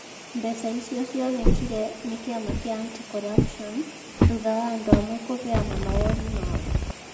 Mbeca icio cionekire nĩ kĩama kĩa Anti-Corruption, thutha wa andũ amwe kũheana mawoni mao.